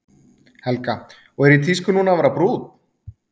Helga: Og er í tísku núna að vera brúnn?